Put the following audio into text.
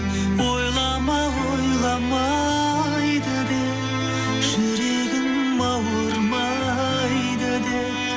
ойлама ойламайды деп жүрегім ауырмайды деп